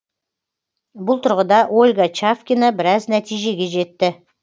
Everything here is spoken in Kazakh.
бұл тұрғыда ольга чавкина біраз нәтижеге жетті